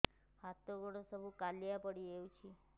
ହାତ ଗୋଡ ସବୁ କାଲୁଆ ପଡି ଯାଉଛି